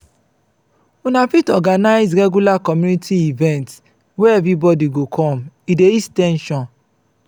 una fit organize regular community event where everybody go come e dey ease ten sion